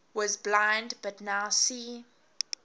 was blind but now see